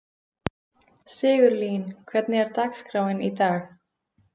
Sigurlín, hvernig er dagskráin í dag?